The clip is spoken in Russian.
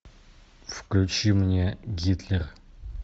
включи мне гитлер